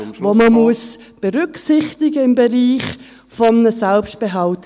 die man berücksichtigen muss im Bereich eines Selbstbehalts.